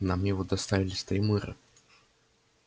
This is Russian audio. нам его доставили с таймыра